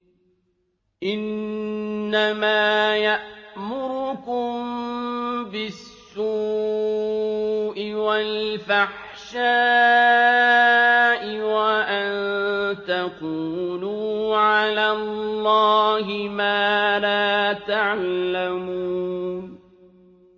إِنَّمَا يَأْمُرُكُم بِالسُّوءِ وَالْفَحْشَاءِ وَأَن تَقُولُوا عَلَى اللَّهِ مَا لَا تَعْلَمُونَ